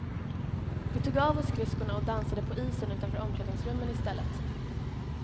Vi tog av oss skridskorna och dansade på isen utanför omklädningsrummen i stället.